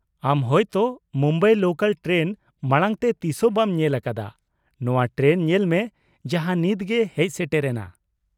ᱟᱢ ᱦᱳᱭᱛᱚ Mumbai local train ᱢᱟᱲᱟᱝ ᱛᱮ ᱛᱤᱥᱦᱚᱸ ᱵᱟᱢ ᱧᱮᱞ ᱟᱠᱟᱫᱟ, ᱱᱚᱶᱟ ᱴᱨᱮᱱ ᱧᱮᱞ ᱢᱮ ᱡᱟᱦᱟᱸ ᱱᱤᱛ ᱜᱮ ᱦᱮᱡ ᱥᱮᱴᱮᱨ ᱮᱱᱟ ᱾